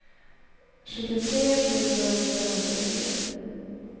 sjuttiotre tusen femhundratio